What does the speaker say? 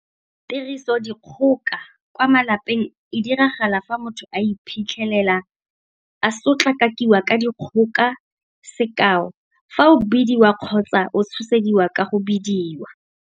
Tirisodikgoka kwa malapeng e diragala fa motho a iphitlhela, a sotlakakiwa ka dikgoka. Sekao fa o bidiwa kgotsa o tshosediwa ka go bidiwa.